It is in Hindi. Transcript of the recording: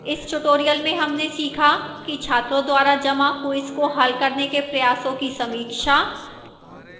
इस tutorial में हमने सीखा कि छात्रों द्वारा जमा quiz को हल करने के प्रयासों की समीक्षा